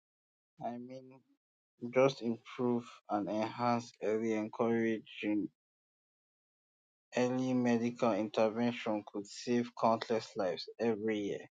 i mean just improving ah encouraging early encouraging early medical intervention could save um countless lives every year